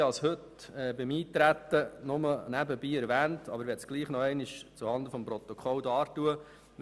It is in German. Ich habe es heute beim Eintreten nur nebenbei erwähnt und möchte es noch einmal zuhanden des Protokolls darlegen.